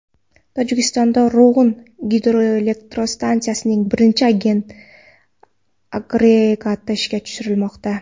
Tojikistonda Rog‘un gidroelektrostansiyasining birinchi agregati ishga tushirilmoqda.